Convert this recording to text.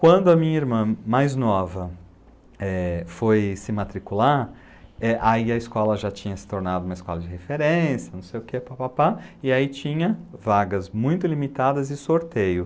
Quando a minha irmã mais nova foi se matricular, aí a escola já tinha se tornado uma escola de referência, não sei o que, papapá, e aí tinha vagas muito limitadas e sorteio.